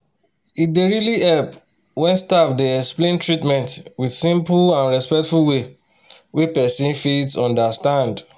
e dey really help when staff dey explain treatment with simple and respectful way wey person fit understand.